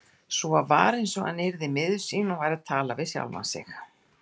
Svo var eins og hann yrði miður sín og væri að tala við sjálfan sig.